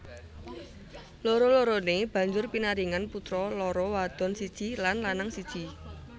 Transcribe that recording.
Loro loroné banjur pinaringan putra loro wadon siji lan lanang siji